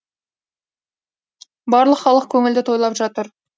барлық халық көңілді тойлап жатыр